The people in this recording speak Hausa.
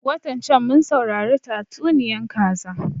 Watan can mun saurari tatsuniyan kaza